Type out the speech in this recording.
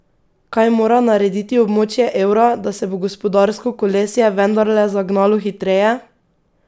Kaj mora narediti območje evra, da se bo gospodarsko kolesje vendarle zagnalo hitreje?